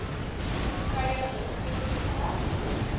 verskeie rolspelers betrek